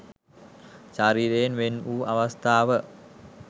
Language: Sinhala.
ශරීරයෙන් වෙන් වූ අවස්ථාව